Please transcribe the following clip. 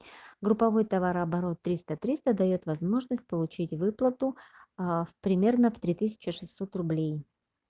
групповой товарооборот триста триста даёт возможность получить выплату в примерно три тысячи шестьсот рублей